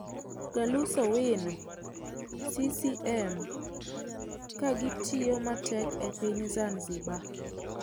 Galus Owino(CCM) ka gitiyo matek e piny Zanzibar.